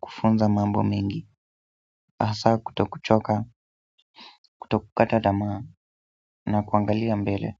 kufunza mambo mengi hasa kutokuchoka, kutokukata tamaa na kuangalia mbele.